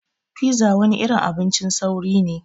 Pizza wani irin abincin sauri ne.